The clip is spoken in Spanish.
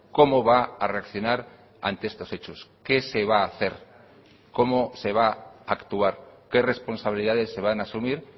cómo va a reaccionar ante estos hechos qué se va a hacer cómo se va a actuar qué responsabilidades se van a asumir